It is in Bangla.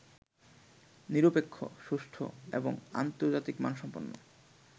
নিরপেক্ষ, সুষ্ঠু এবং আন্তর্জাতিক মানসম্পন্ন